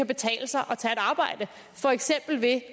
betale sig at arbejde for eksempel ved